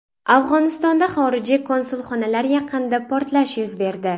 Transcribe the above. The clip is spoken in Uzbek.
Afg‘onistonda xorijiy konsulxonalar yaqinida portlash yuz berdi.